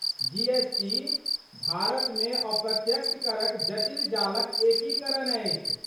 जी. S. T. भारतमे अप्रत्यक्ष करक जटिल जालक एकीकरण अछि।